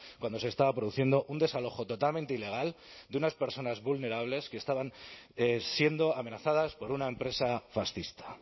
cuando se estaba produciendo un desalojo totalmente ilegal de unas personas vulnerables que estaban siendo amenazadas por una empresa fascista